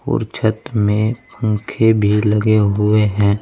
और छत में पंखे भी लगे हुए हैं।